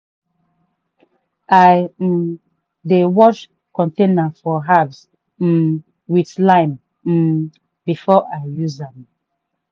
i um dey wash container for herbs um with lime um before i use am.